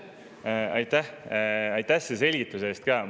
Aitäh selle selgituse eest!